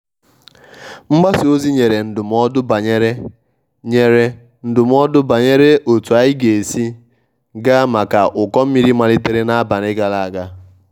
mgbasa ozi nyere ndụmọdụ banyere nyere ndụmọdụ banyere otu anyi ga esi ga maka ụkọ mmiri malitere n'abalị gara aga.